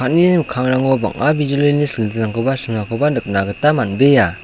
mikkangrango bang·a bijolini silitingrangkoba sringakoba nikna gita man·bea.